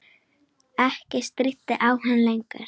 Ekkert stríddi á hann lengur.